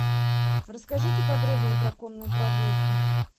расскажите подробнее про конные прогулки